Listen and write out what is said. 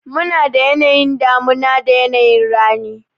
Munada yanayin damuna da yanayi rani.